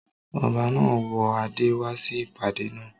Ọba náà wọ adé wá sí ìpàdé naa